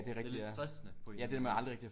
Det er lidt stressende på en eller anden måde